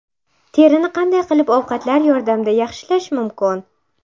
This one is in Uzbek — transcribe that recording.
Terini qanday qilib ovqatlar yordamida yaxshilash mumkin?.